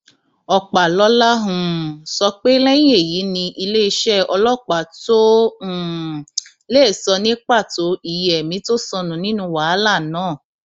ọpàlọla um sọ pé lẹyìn èyí ni iléeṣẹ ọlọpàá tóo um lè sọ ní pàtó iye ẹmí tó sọnù nínú wàhálà náà